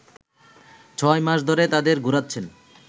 ছয় মাস ধরে তাদের ঘুরাচ্ছেন